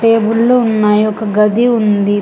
టేబుల్లు ఉన్నాయి ఒక గది ఉంది.